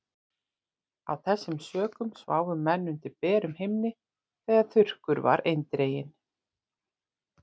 Af þessum sökum sváfu menn undir berum himni þegar þurrkur var eindreginn.